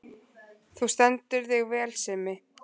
Þú stendur þig vel, Simmi!